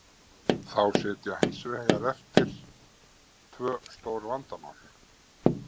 Þá sitja hins vegar eftir tvö stór vandamál.